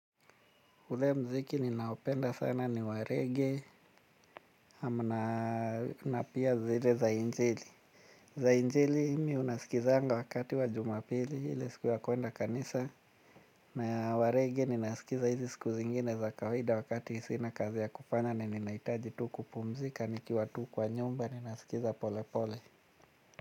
Ule muziki ninaopenda sana ni wa rege na pia zile za injili. Za injili mimi ninasikiza wakati wa jumapili ile siku ya kwenda kanisa. Na wa rege ninasikiza hizi siku zingine za kawaida wakati sina kazi ya kufanya. Na ninahitaji tu kupumzika nikiwa tu kwa nyumba. Ninasikiza pole pole.